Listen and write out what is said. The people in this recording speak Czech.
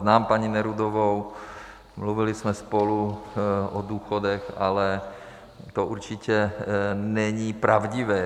Znám paní Nerudovou, mluvili jsme spolu o důchodech, ale to určitě není pravdivé.